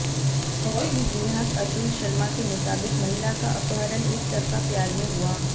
SP देहात अतुल शर्मा के मुताबिक महिला का अपहरण एक तरफा प्यार में हुआ